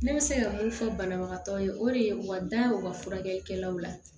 Ne bɛ se ka mun fɔ banabagatɔ ye o de ye u ka da ye u ka furakɛlikɛlaw la